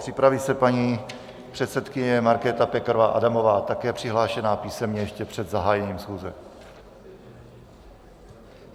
Připraví se paní předsedkyně Markéta Pekarová Adamová, také přihlášená písemně ještě před zahájením schůze.